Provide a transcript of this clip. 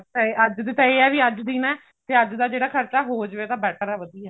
ਅੱਜ ਚ ਤਾਂ ਇਹ ਹੈ ਨਾ ਅੱਜ ਦੀ ਨਾ ਜੇ ਅੱਜ ਦਾ ਖਰਚਾ ਹੋ ਜਾਵੇ better ਹੈ ਵਧੀਆ